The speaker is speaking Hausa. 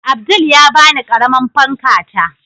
Abdul ya bani ƙaramar fanka ta